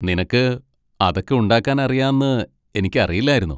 നിനക്ക് അതൊക്കെ ഉണ്ടാക്കാൻ അറിയാന്ന് എനിക്ക് അറിയില്ലായിരുന്നു.